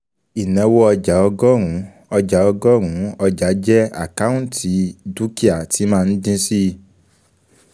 Ìnáwó ọjàọgọrun, ọjàọgọrun ọjàjẹ́ àkọ́ùntì dúkìá tí máa ń dín síi.